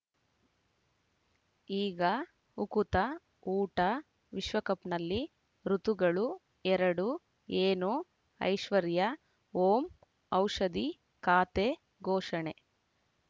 ಈಗ ಉಕುತ ಊಟ ವಿಶ್ವಕಪ್‌ನಲ್ಲಿ ಋತುಗಳು ಎರಡು ಏನು ಐಶ್ವರ್ಯಾ ಓಂ ಔಷಧಿ ಖಾತೆ ಘೋಷಣೆ